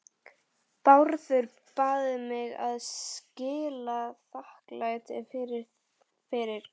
BÁRÐUR BAÐ MIG AÐ SKILA ÞAKKLÆTI FYRIR